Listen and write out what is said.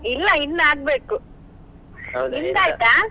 ಇಲ್ಲ ಇನ್ ಆಗ್ಬೇಕು ನಿಮ್ದ್ ಆಯ್ತಾ?